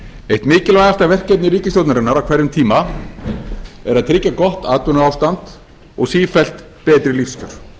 eitt mikilvægasta verkefni ríkisstjórnarinnar á hverjum tíma er að tryggja gott atvinnuástand og sífellt betri lífskjör